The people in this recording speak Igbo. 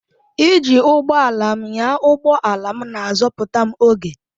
Iji ụgbọ ala m ịnya ụgbọ ala na-azọpụta m oge.